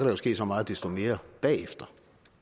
jo ske så meget desto mere bagefter